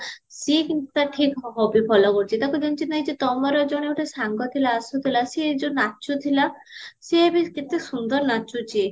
ସିଏ କିନ୍ତୁ ଟା ଠିକ hobby follow କରୁଚି ତାକୁ ଚିହ୍ନିଚ କି ନାହି ଯେ ତମର ଜଣେ ଗୋଟେ ସାଙ୍ଗ ଥିଲା ଆସୁଥିଲା ସିଏ ଯୋଉ ନାଚୁଥିଲା ସିଏ ଏବେ କେତେ ସୁନ୍ଦର ନାଚୁଚି